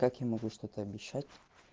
как я могу что-то обещать